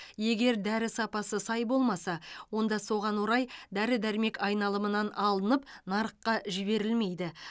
егер дәрі сапасы сай болмаса онда соған орай дәрі дәрмек айналымынан алынып нарыққа жіберілмейді